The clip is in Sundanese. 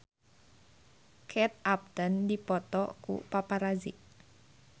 Kate Upton dipoto ku paparazi